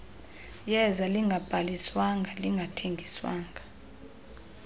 yeza lingabhaliswanga lingathengiswa